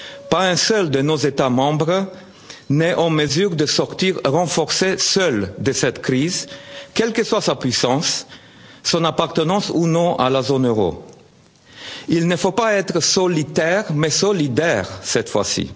à l'acte. Pas un seul de nos États membres n'est en mesure de sortir renforcé seul de cette crise, quelles que soient sa puissance et son appartenance ou non à la zone Euro. Il ne faut pas être solitaire mais solidaire, cette